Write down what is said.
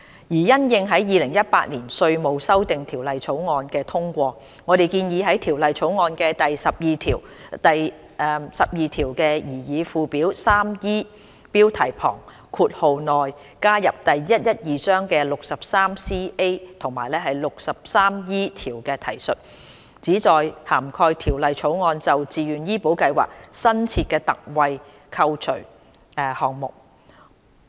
因應《2018年稅務條例草案》的通過，我們建議在《條例草案》的第12條、第12條的擬議附表 3E 標題旁括號內加入第112章的第 63CA 及 63E 條的提述，旨在涵蓋《條例草案》就自願醫保計劃新設的特惠扣除項目。